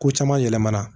Ko caman yɛlɛmana